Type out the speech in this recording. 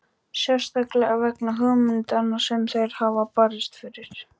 Sérstaklega vegna hugmyndanna sem þeir hafa barist fyrir.